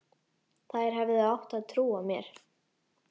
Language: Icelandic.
Þær hefðu ekki trúað mér.